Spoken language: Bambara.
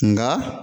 Nka